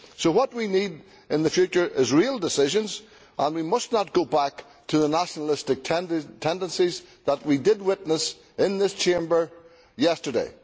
So what we need in the future is real decisions and we must not go back to the nationalistic tendencies that we witnessed in this Chamber yesterday.